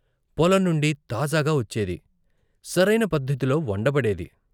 పొలం నుండి తాజాగా వచ్చేది, సరయిన పద్దతిలో వండబడేది.